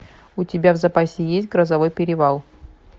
у тебя в запасе есть грозовой перевал